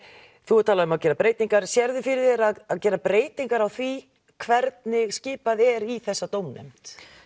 þú hefur talað um að gera breytingar sérðu fyrir þér að gera breytingar á því hvernig skipað er í þessa dómnefnd